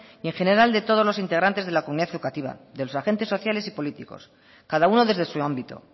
y en general de todos los integrantes de la comunidad educativa de los agentes sociales y políticos cada uno desde su ámbito